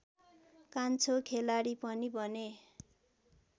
कान्छो खेलाडी पनि बने